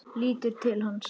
Lítur til hans.